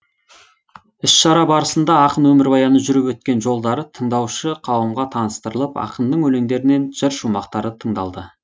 іс шара барысында ақын өмірбаяны жүріп өткен жолдары тыңдаушы қауымға таныстырылып ақынның өлеңдерінен жыр шумақтары тыңдалды